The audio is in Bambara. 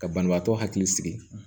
Ka banabaatɔ hakili sigi